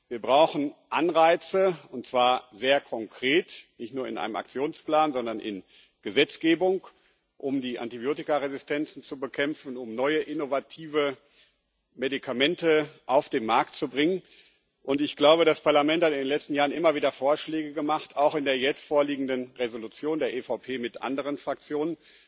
Wir brauchen Anreize, und zwar sehr konkret nicht nur in einem Aktionsplan, sondern in Gesetzgebung um die Antibiotikaresistenzen zu bekämpfen, um neue innovative Medikamente auf den Markt zu bringen. Ich glaube, das Parlament hat in den letzten Jahren immer wieder Vorschläge gemacht, auch in der jetzt vorliegenden Entschließung der EVP mit anderen Fraktionen.